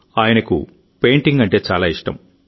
ఆయనకు పెయింటింగ్ అంటే చాలా ఇష్టం